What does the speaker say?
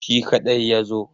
Shi kaɗai ya zo.